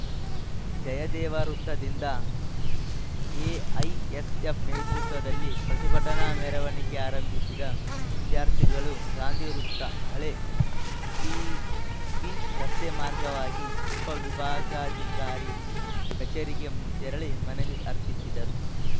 ಜಯದೇವ ವೃತ್ತದಿಂದ ಎಐಎಸ್‌ಎಫ್‌ ನೇತೃತ್ವದಲ್ಲಿ ಪ್ರತಿಭಟನಾ ಮೆರವಣಿಗೆ ಆರಂಭಿಸಿದ ವಿದ್ಯಾರ್ಥಿಗಳು ಗಾಂಧಿವೃತ್ತ ಹಳೇ ಪಿಬಿ ರಸ್ತೆ ಮಾರ್ಗವಾಗಿ ಉಪವಿಭಾಗಾಧಿಕಾರಿ ಕಚೇರಿಗೆ ತೆರಳಿ ಮನವಿ ಅರ್ಪಿಸಿದರು